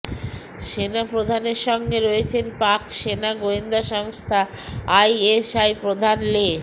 সেনাপ্রধানের সঙ্গে রয়েছেন পাক সেনা গোয়েন্দা সংস্থা আইএসআই প্রধান লে